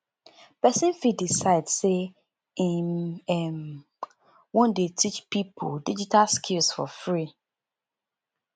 persin fit decide say im um won de teach pipo digital skills for free